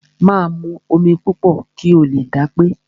Máa mu omi púpọ̀ kí o lè dápé.